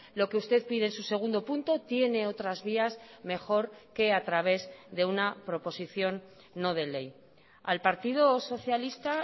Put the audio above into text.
lo que usted pide en su segundo punto tiene otras vías mejor que a través de una proposición no de ley al partido socialista